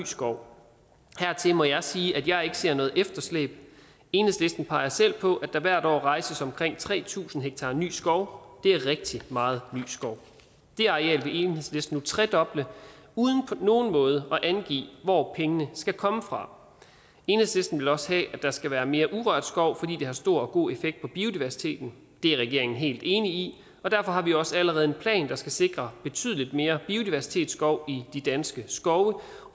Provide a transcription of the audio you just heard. skov hertil må jeg sige at jeg ikke ser noget efterslæb enhedslisten peger selv på at der hvert år rejses omkring tre tusind ha ny skov det er rigtig meget ny skov det areal vil enhedslisten nu tredoble uden på nogen måde at angive hvor pengene skal komme fra enhedslisten vil også have at der skal være mere urørt skov fordi det har stor og god effekt på biodiversiteten det er regeringen helt enig i og derfor har vi også allerede en plan der skal sikre betydelig mere biodiversitetsskov i de danske skove og